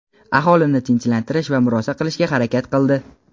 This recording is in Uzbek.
aholini tinchlantirish va murosa qilishga harakat qildi.